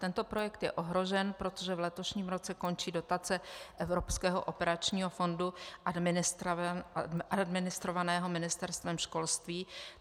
Tento projekt je ohrožen, protože v letošním roce končí dotace evropského operačního fondu administrovaného Ministerstvem školství.